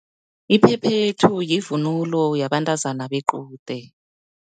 Iphephethu, yivunulo yabantazana bequde.